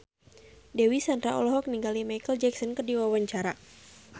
Dewi Sandra olohok ningali Micheal Jackson keur diwawancara